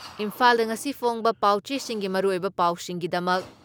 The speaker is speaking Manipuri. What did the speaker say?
ꯏꯝꯐꯥꯜꯗ ꯉꯁꯤꯒꯤ ꯐꯣꯡꯕ ꯄꯥꯎꯆꯦꯁꯤꯡꯒꯤ ꯃꯔꯨꯑꯣꯏꯕ ꯄꯥꯎꯁꯤꯡꯒꯤꯗꯃꯛ